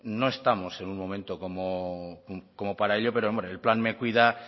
no estamos en un momento como para ello pero hombre el plan me cuida